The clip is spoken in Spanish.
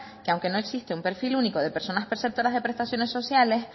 que aunque no existe un perfil único de personas preceptoras de prestaciones sociales